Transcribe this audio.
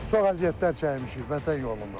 Çox əziyyətlər çəkmişik Vətən yolunda.